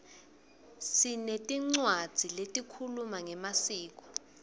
sinetincwadzi letikhuluma ngemasiko